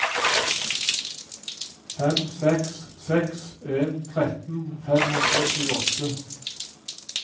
fem seks seks en tretten fem hundre og tjueåtte